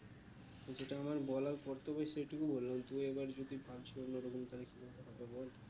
যেটা আমার বলার কর্তব্য সেটুকু বললাম তুমি এবার যদি তাহলে কি ভাবে কথা বল